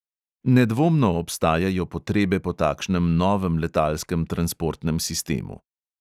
Nedvomno obstajajo potrebe po takšnem novem letalskem transportnem sistemu.